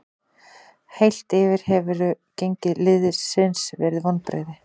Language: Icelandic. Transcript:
Heilt yfir hefur gengi liðsins verið vonbrigði.